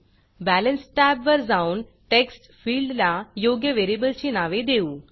balance टॅबवर जाऊन text फिल्डला योग्य व्हेरिएबलची नावे देऊ